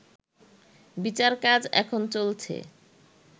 বিচারকাজ এখন চলছে